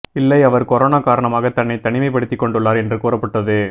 இல்லை அவர் கொரோனா காரணமாக தன்னை தனிமைப்படுத்திக் கொண்டுள்ளார் என்று கூறப்பட்டது